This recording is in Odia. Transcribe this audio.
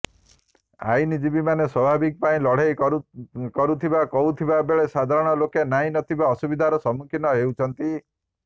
ଆଇନଜୀବୀମାନେ ସ୍ବାଭିମାନ ପାଇଁ ଲଢେଇ କରୁଥିବା କହୁଥିବା ବେଳେ ସାଧାରଣ ଲୋକେ ନାହିଁ ନଥିବା ଅସୁବିଧାର ସମ୍ମୁଖୀନ ହେଉଛନ୍ତି